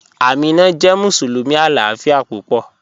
Ámínà jẹ́ musulumi aláàfíà púpọ̀